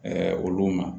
olu ma